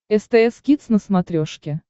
стс кидс на смотрешке